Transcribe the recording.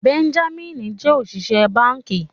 Benjamin jẹ oṣiṣẹ banki.